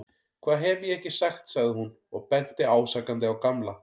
Hvað hef ég ekki sagt sagði hún og benti ásakandi á Gamla.